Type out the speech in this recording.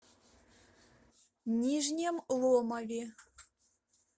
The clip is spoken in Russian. нижнем ломове